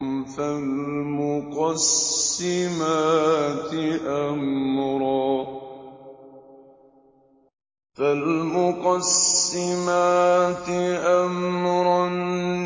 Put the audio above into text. فَالْمُقَسِّمَاتِ أَمْرًا